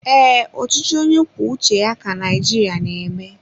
Ee, ọchịchị onye kwuo uche ya ka Naijiria na eme